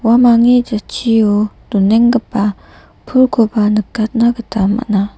uamangni jatchio donenggipa pulkoba nikatna gita man·a.